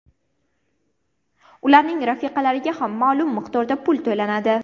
Ularning rafiqalariga ham ma’lum miqdorda pul to‘lanadi.